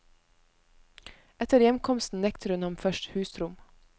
Etter hjemkomsten nekter hun ham først husrom.